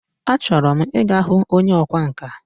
A chọrọ m Ị ga hụ onye ọkwa nka.